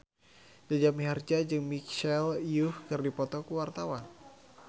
Jaja Mihardja jeung Michelle Yeoh keur dipoto ku wartawan